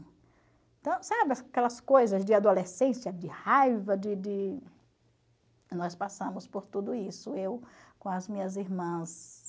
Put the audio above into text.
Então, sabe aquelas coisas de adolescência, de raiva, de... Nós passamos por tudo isso, eu com as minhas irmãs.